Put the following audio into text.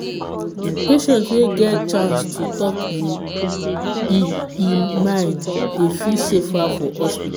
patient wey get chance to talk him e e mind dey feel safer for hospital.